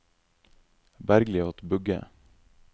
Bergliot Bugge